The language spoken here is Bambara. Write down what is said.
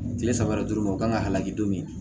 Kile saba yɛrɛ dɔrɔn ma u kan ka hal'a kɛ don min